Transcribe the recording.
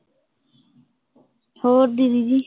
ਹੋਰ ਦੀਦੀ ਜੀ